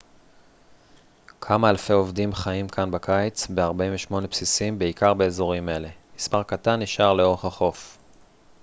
כמה אלפי עובדים חיים כאן בקיץ ב-48 בסיסים בעיקר באזורים אלה מספר קטן נשאר לאורך החורף